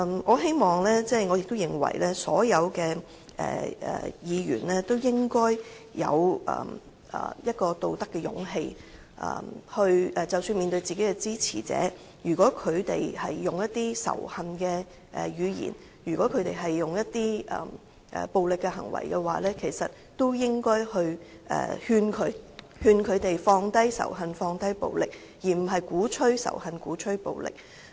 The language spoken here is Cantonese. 我希望亦認為所有議員都應有道德勇氣，即使面對的是自己的支持者，但如果他們使用充滿仇恨的語言及作出暴力行為，也應勸諭他們放低仇恨和暴力，而不應鼓吹仇恨和暴力。